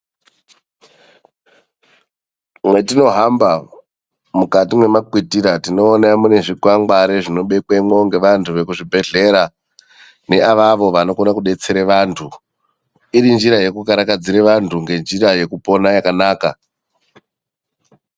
Matinohamba mukati memakwitira ,tinoona mune zvikwangwari zvinobekwemo ngeevantu veku zvibhedhlera neavavo vanokona kudetsera vantu ,irinjira yekukarakadzira vantu ngenjira yekupona yakanaka.